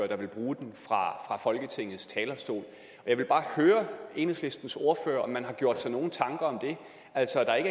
der vil bruge den fra folketingets talerstol jeg vil bare høre enhedslistens ordfører om man har gjort sig nogen tanker om det altså at der